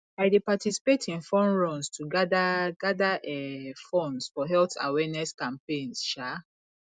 i dey participate in fun runs to gather gather um funds for health awareness campaigns um